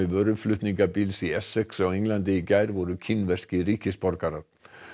vöruflutningabíls í Essex á Englandi í gær voru kínverskir ríkisborgarar